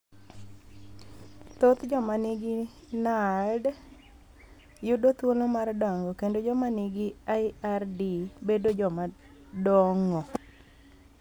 Thoth joma ni gi NALD yudo thuolo mar dongo kendo joma ni gi IRD bedo joma dong'o.